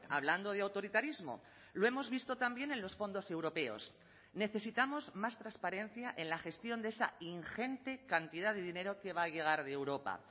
hablando de autoritarismo lo hemos visto también en los fondos europeos necesitamos más transparencia en la gestión de esa ingente cantidad de dinero que va a llegar de europa